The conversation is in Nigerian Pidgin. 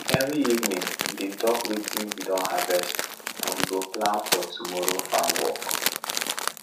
every evening we dey talk watin we don harvest and we go plan for tomorrow farm work